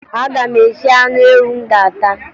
Aga m esi anụ ewu m ga-ata